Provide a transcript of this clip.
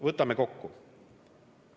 Võtame kokku.